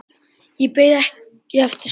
En beið ekki eftir svari.